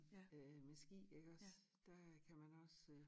Øh med ski iggås der kan man også øh